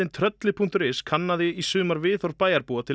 Trölli punktur is kannaði í sumar viðhorf bæjarbúa til